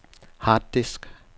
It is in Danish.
harddisk